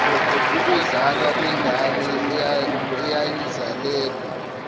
ukuzalwa kwengane eyayizalelwe